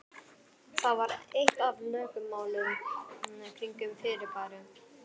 Það var eitt af lögmálunum kringum fyrirbærið.